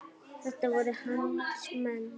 Þetta voru hans menn.